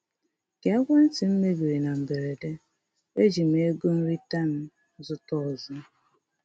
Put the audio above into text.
Ka ekwentị m mebiri na mberede, eji m ego nrita m zụta ọzọ.